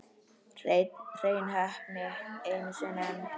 Hrein heppni einu sinni enn.